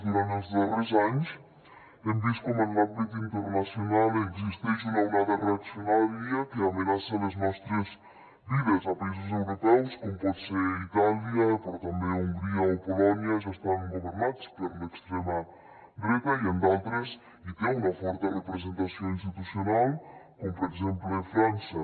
durant els darrers anys hem vist com en l’àmbit internacional existeix una onada reaccionària que amenaça les nostres vides a països europeus com poden ser itàlia però també hongria i polònia ja estan governats per l’extrema dreta i en d’altres hi té una forta representació institucional com per exemple frança